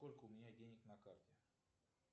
сколько у меня денег на карте